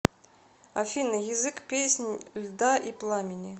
афина язык песнь льда и пламени